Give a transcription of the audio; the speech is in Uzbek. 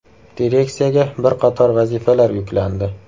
Direksiyaga bir qator vazifalar yuklandi.